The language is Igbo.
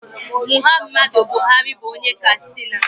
Muhammadu Buhari bụ onye Kastina